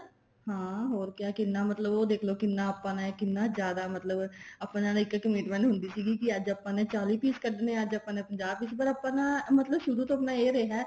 ਹਾਂ ਹੋਰ ਕਿਆ ਕਿੰਨਾ ਮਤਲਬ ਉਹ ਦੇਖਲੋ ਕਿੰਨਾ ਆਪਾਂ ਨੇ ਕਿੰਨਾ ਜਿਆਦਾ ਮਤਲਬ ਆਪਣੇ ਤਾਂ ਇੱਕ commitment ਹੁੰਦੀ ਸੀਗੀ ਅੱਜ ਆਪਾਂ ਨੇ ਚਾਲੀ piece ਕੱਢਨੇ ਅੱਜ ਆਪਾਂ ਨੇ ਪੰਜਾਹ piece ਪਰ ਆਪਾਂ ਨਾ ਸ਼ੁਰੂ ਤੋਂ ਮਤਲਬ ਇਹ ਰਿਹਾ